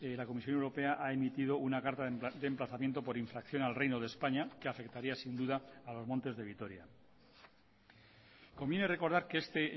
la comisión europea ha emitido una carta de emplazamiento por infracción al reino de españa que afectaría sin duda a los montes de vitoria conviene recordar que este